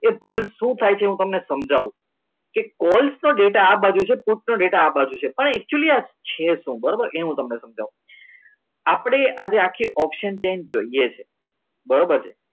એ ભૂલ શું થાય છે હું તમને સમજાવું કે કોલેજ નો ડેટા આ બાજુ છે પોતાનો ડેટા બનશે પણ એક્ચ્યુલી આ છે શું બરાબર હું તમને સમજાવું આપણે આજે આખી option change જોઈએ છે બરાબર છે